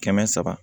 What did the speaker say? Kɛmɛ saba